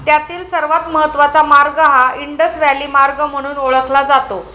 त्यातील सर्वात महत्वाचा मार्ग हा इंडस व्हॅली मार्ग म्हणून ओळखला जातो.